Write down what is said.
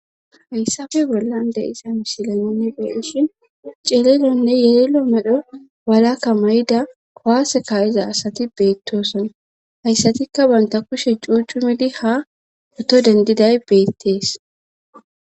Hayssafe bollande isa misilaninne beenishin ceelelonne yelelo medho walakka may7ida kowase kaayiza asati beettosona hayssatikka banta kushe cuucu midi ha oto dendiday beettees.